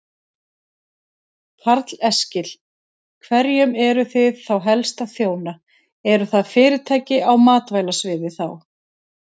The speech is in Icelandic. Karl Eskil: Hverjum eruð þið þá helst að þjóna, eru það fyrirtæki á matvælasviði þá?